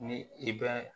Ni i bɛ